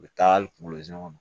U bɛ taa hali kungolo zɛmɛ kɔnɔ